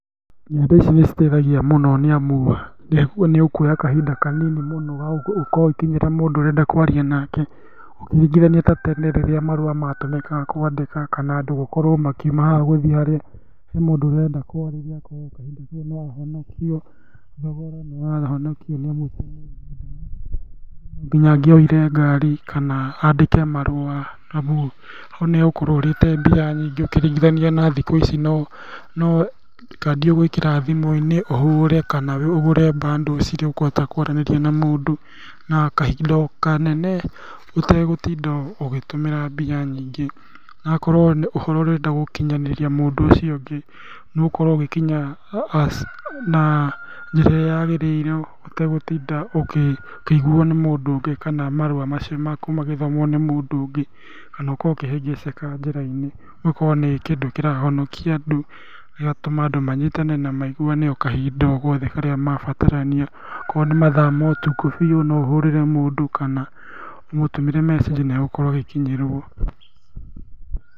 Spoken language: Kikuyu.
Nenda ici nĩcitaithagia mũno, nĩamu nĩũkuoya kahinda kanini mũno gagũkorwo ũgĩkinyĩra mũndũ ũrenda kwaria nake, ũkĩringithania ta tene rĩrĩa marũa matũmĩkaga kwandĩka kana andũ gũkorwo makiuma haha gũthiĩ harĩa he mũndũ ũrĩa ũrenda kwarĩria no nginya angĩoire ngari, kana andĩke marũa arabu ho nĩũgũkorwo ũrĩte mbia nyingĩ ũkĩringithania na ihinda rĩrĩ no kandi ũgwĩkĩra thimũ-inĩ ũhũre kana ũgũre bundles irĩa ũkũhota kwaranĩria na mũndũ na kahinda o kanene ũtegũtinda ũgĩtũmĩra mbia nyingĩ hagakorwo ũhoro ũrĩa ũrenda gũkinyĩria mũndũ ũcio ũngĩ nĩũgũkorwo ũgĩkinya na njĩra ĩrĩa yagĩrĩire ũtegũtinda ũkĩiguo nĩ mũndũ ũngĩ kana marũa macio maku magĩthomwo nĩ mũndũ ũngĩ, kana ũkorwo ũkĩhĩngĩcĩka njĩra-inĩ, ũgakorwo nĩ kĩndũ kĩrahonokia andũ, gĩgatũma andũ manyitane na maiguane okahinda ogothe karĩa mabatarania, akorwo nĩmathaa ma ũtukũ, biũ, noũhũrĩre mũndũ kana ũmũtũmĩre mecĩnji, nĩegũkorwo agĩkinyĩrwo.